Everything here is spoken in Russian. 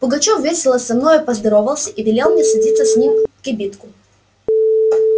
пугачёв весело со мною поздоровался и велел мне садиться с ним в кибитку